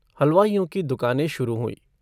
हलवाइयों की दुकानें शुरू हुई।